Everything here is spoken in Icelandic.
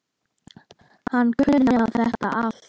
Hann kunni á þetta allt.